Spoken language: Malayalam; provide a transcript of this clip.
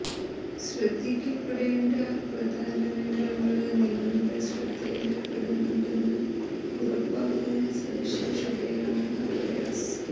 ശ്രദ്ധിക്കപ്പെടേണ്ട പ്രധാന വിവരങ്ങള് നിങ്ങളുടെ ശ്രദ്ധയില് പെടുന്നുണ്ടെന്ന് ഉറപ്പാക്കുന്ന സവിശേഷതയാണ് ഹൈലൈറ്റ്സ്